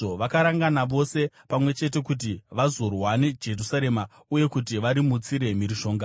Vakarangana vose pamwe chete kuti vazorwa neJerusarema uye kuti varimutsire mhirizhonga.